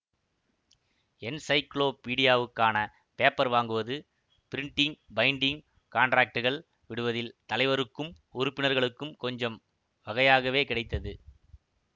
என்ஸைக்ளோபீடியாவுக்கான paper வாங்குவது printing binding காண்ட்ராக்ட்டுகள் விடுவதில் தலைவருக்கும் உறுப்பினர்களுக்கும் கொஞ்சம் வகையாகவே கிடைத்தது